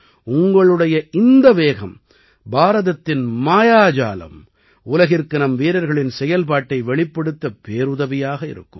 உங்களுடைய இந்த வேகம் பாரதத்தின் மாயாஜாலம் உலகிற்கு நம் வீரர்களின் செயல்பாட்டை வெளிப்படுத்த பேருதவியாக இருக்கும்